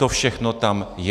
To všechno tam je.